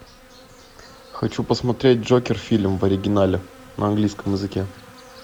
хочу посмотреть джокер фильм в оригинале на английском языке